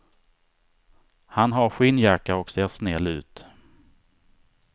Han har skinnjacka och ser snäll ut.